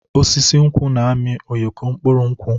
Osisi nkwụ na-amị ụyọkọ mkpụrụ nkwụ.